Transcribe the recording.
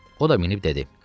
O da minib dedi: